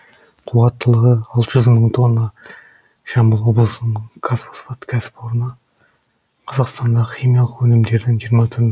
қуаттылығы алты жүз мың тонна жамбыл облысының қазфосфат кәсіпорны қазақстандағы химиялық өнімдердің жиырма түрін